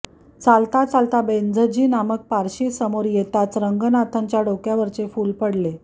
चालता चालता बेंझजी नामक पारशी समोर येताच रंगनाथच्या डोक्यावरचे फुल पडले